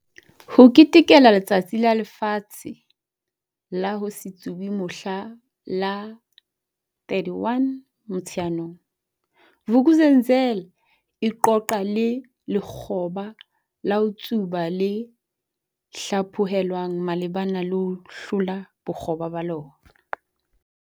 H Ketekela Letsatsi la Lefatshe la ho se Tsube mohla la 31 Motsheanong, Vuk'uzenzele e qoqa le lekgoba la ho tsuba le hlaphohelwang malebana le ho hlola bokgoba ba lona.